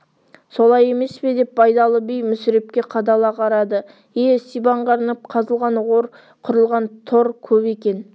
солай емес пе деп байдалы би мүсірепке қадала қарады ие сибанға арнап қазылған ор құрылған тор көп екен